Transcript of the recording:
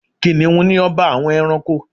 Kìnìhún ni ọba àwọn ẹranko